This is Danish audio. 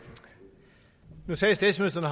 nu sagde statsministeren